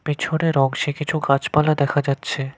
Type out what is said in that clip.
পিছনের অংশে কিছু গাছপালা দেখা যাচ্ছে।